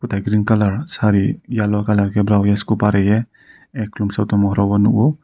tai green kalar sari yellow colour ke Esko barie chung satung nugro.